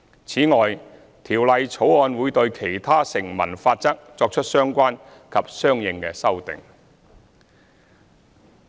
此外，《條例草案》會對其他成文法則作出相關及相應修訂。